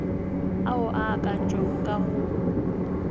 ao a akantšwego ka go